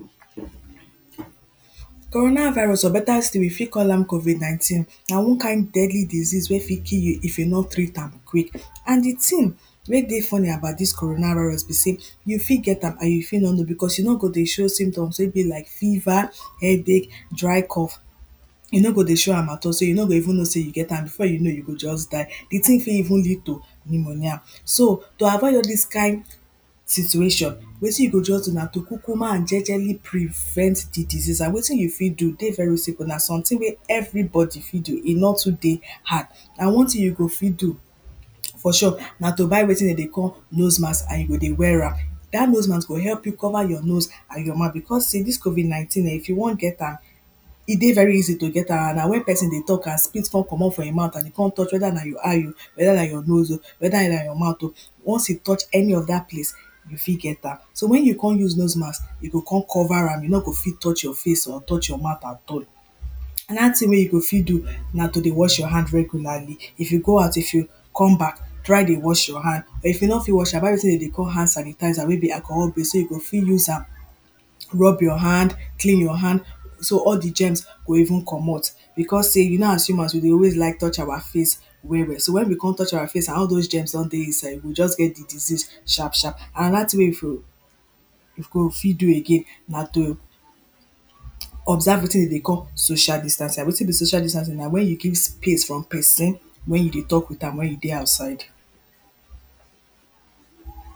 coronavirus or better still we fit call am covid 19 na one kind deadly disease wey fit kill you if you nor treat am quick and the thing wey dey funny about this coronavirus be say you fit get am you fit nor know because e nor dey show symptoms like fever, headache dry cough e nor go dey show am at all so you nor go even know you get am before you know you go just die the thing fit even lead to pneumonia so to avoid all this kind situation wetin you go just do na to kukuma and jejely prevent the disease and wetin you fit do e dey very simple and na something wey everybody fit do e nor too dey hard and one thing you go fit do for shop na to buy wetin dem dey call nose mask and you go dey wear am that nose mask go help you cover your nose and your mouth because say this covid 19. if you want get am e dey very easy to get am e dey very easy to get am and na when person dey talk and spit come commot from e mouth and e come touch whether na your eye o whether na your nose o once e touch any of that place you fit get am so when you come use nose mask e go come cover am e nor go fit touch your face or touch your mouth at all another thing wey you go fit do na to dey wash your hand regularly if you go ou if you come back try dey wash your hand but if you nor fit wash am buy wetin dem dey call hand sanitizer wey be alcohol base wey you go fit use am rub your hand clean your hand so all the germs go even commot because say you know as humans we dey always like touch our face well well so when we come touch our face and all those germs done dey inside we go just get the disease sharp sharp and another thing you for go fit do again na to observe wetin we dey call social distancing and wetin be social distancing na when you give space from person when you dey talk with am when you dey outside